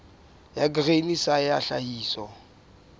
ya grain sa ya tlhahiso